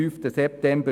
] (SSV)